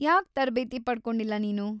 ಯಾಕ್‌ ತರ್ಬೇತಿ ಪಡ್ಕೊಂಡಿಲ್ಲ ನೀನು?